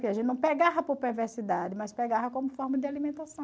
Que a gente não pegava por perversidade, mas pegava como forma de alimentação.